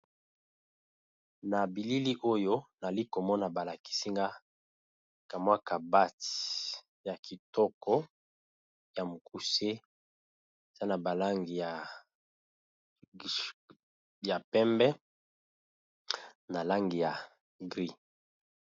Na bilili oyo nali komona balakisinga mwaka bat ya kitoko ya mokuse za na balangi ya pembe na langi ya mbwe.